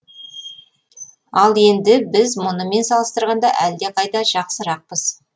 ал енді біз мұнымен салыстырғанда әлдеқайда жақсырақпыз